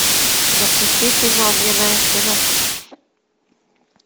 запусти фильм огненная стена